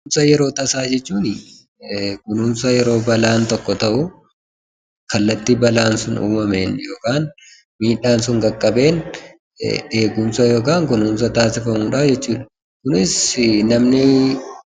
Kunuunsa yeroo tasaa jechuun kunuunsa yeroo balaan tokko ta'u, kallattii balaan sun uumameen yookaan miidhaan sun qaqqabeen eegumsa yookaan kunuunsa taasifamudhaa jechuudha. Kunis namni